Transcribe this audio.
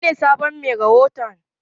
Wanene sabon mai rahoton?